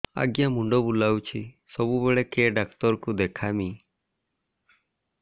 ଆଜ୍ଞା ମୁଣ୍ଡ ବୁଲାଉଛି ସବୁବେଳେ କେ ଡାକ୍ତର କୁ ଦେଖାମି